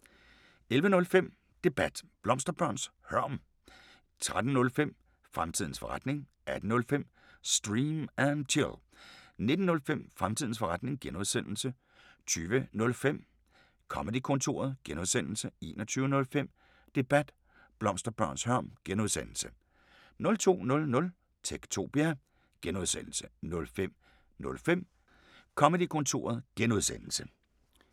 11:05: Debat: Blomsterbørns hørm 13:05: Fremtidens forretning 18:05: Stream & Chill 19:05: Fremtidens forretning (G) 20:05: Comedy-kontoret (G) 21:05: Debat: Blomsterbørns hørm (G) 02:00: Techtopia (G) 05:05: Comedy-kontoret (G)